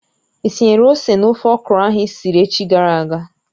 Ị tinyere ose n'ofe okro ahụ isiri echi gara aga?